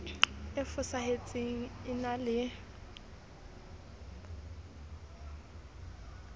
e fosahetseng e na le